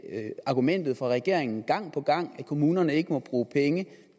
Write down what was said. er det argumentet fra regeringen gang på gang at kommunerne ikke må bruge penge